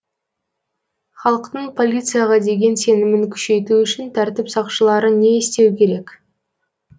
халықтың полицияға деген сенімін күшейту үшін тәртіп сақшылары не істеу керек